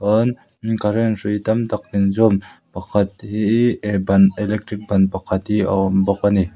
chuan current hrui tam tak in zawm pakhat hii e ban electric ban pakhat hi a awm bawk a ni.